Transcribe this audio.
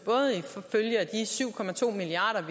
som følge af de syv milliard